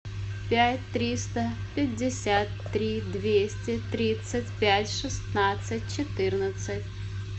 пять триста пятьдесят три двести тридцать пять шестнадцать четырнадцать